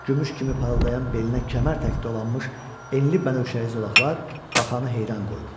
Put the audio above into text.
Gümüş kimi parıldayan belinə kəmər təki dolanmış enli bənövşəyi zolaqlar baxanı heyran qoyurdu.